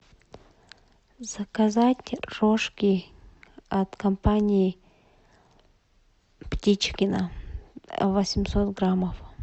заказать рожки от компании птичкино восемьсот граммов